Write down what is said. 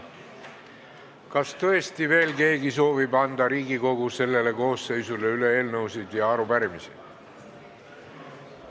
Kas tõesti veel keegi soovib anda Riigikogu sellele koosseisule üle eelnõusid või arupärimisi?